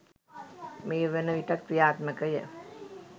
මේ වන විටත් ක්‍රියාත්මකය